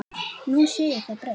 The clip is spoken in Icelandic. Nú sé það breytt.